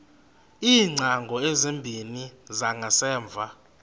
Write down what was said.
iingcango ezimbini zangasemva